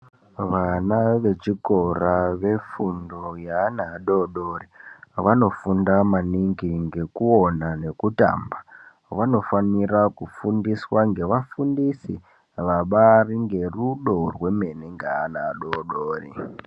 Vana vechikora vefundo yeana adoodori, vanofunda maningi ngekuona nekutamba. Vanofanire kufundiswa ngevafundisi vabaari ngerudo rwemene neana adoodori.